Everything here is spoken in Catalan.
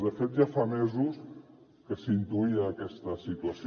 de fet ja fa mesos que s’intuïa aquesta situació